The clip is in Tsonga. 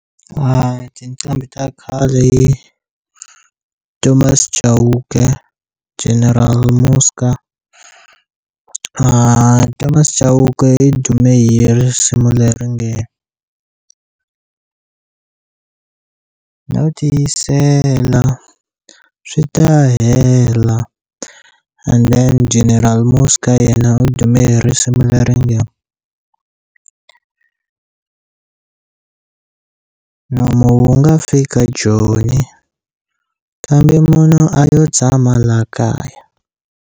Tiqambi ta khale i Thomas Chauke, General Muzka Thomas Chauke i dume hi risimu leri nge no tiyisela, swi ta hela, endheni General Muzka yena u dume hi risimu leri nge nomo wu nga fika joni kambe munhu a yo tshama laha kaya.